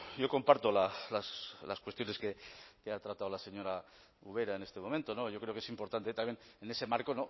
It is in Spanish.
yo comparto las cuestiones que ha tratado la señora ubera en este momento yo creo que es importante también en ese marco